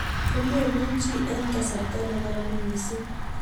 Ko memuchi eng' kasarta ne karan mising'